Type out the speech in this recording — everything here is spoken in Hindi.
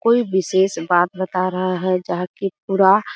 कोई विशेष बात बता रहा है जा की पूरा --